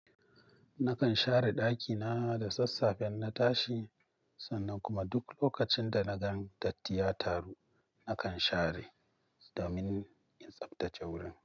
Nakan share ɗakina da sassafe in na tashi, sannan kuma duk lokacin da na gan datti ya taru, nakan share domin in tsaftace wurin.